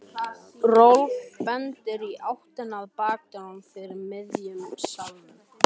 Rolf bendir í áttina að bakdyrunum fyrir miðjum salnum.